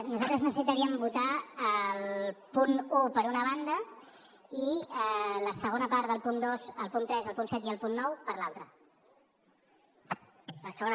nosaltres necessitaríem votar el punt un per una banda i la segona part del punt dos el punt tres el punt set i el punt nou per l’altra